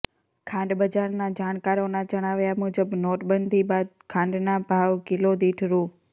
ખાંડ બજારના જાણકારોના જણાવ્યા મુજબ નોટબંધી બાદ ખાંડના ભાવ કિલો દીઠ રૂ